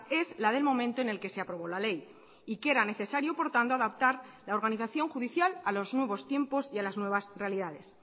es la del momento en el que se aprobó la ley y que era necesario por tanto adaptar la organización judicial a los nuevos tiempos y a las nuevas realidades